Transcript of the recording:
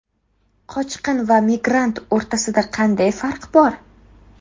Qochqin va migrant o‘rtasida qanday farq bor?